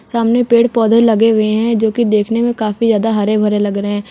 सामने पेड़ पौधे लगे हुए हैं जो की देखने में काफी ज्यादा हरे भरे लग रहे हैं।